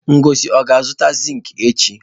Ngozi o ga-azụta zinki echi?